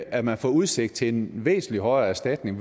at man får udsigt til en væsentlig højere erstatning